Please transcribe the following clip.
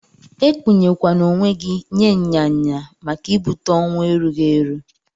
Ekpuye kwana onwe gi nye nya nya maka ibute owụ erughi eru.